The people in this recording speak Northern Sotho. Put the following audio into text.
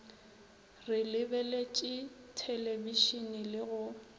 re lebeletše thelebišene le go